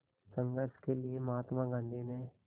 संघर्ष के लिए महात्मा गांधी ने